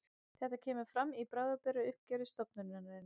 Þetta kemur fram í bráðabirgðauppgjöri stofnunarinnar